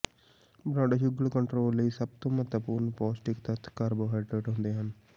blood sugar control ਲਈ ਸਭ ਤੋਂ ਮਹੱਤਵਪੂਰਨ ਪੌਸ਼ਟਿਕ ਤੱਤ ਕਾਰਬੋਹਾਈਡਰੇਟ ਹੁੰਦੇ ਹਨ